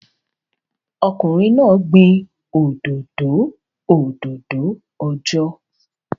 Ọkùnrin náà gbin òdòdó òdòdó ọjọ́